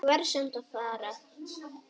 Ég verð samt að fara